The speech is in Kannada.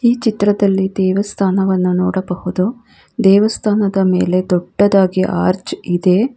ಚಿತ್ರದಲ್ಲಿ ದೇವಸ್ಥಾನವನ್ನು ನೋಡಬಹುದು ದೇವಸ್ಥಾನದ ಮೇಲೆ ದೊಡ್ಡದಾಗಿ ಅರ್ಚ್ ಇದೆ.